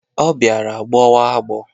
Ọ bịara gbọwa agbọ.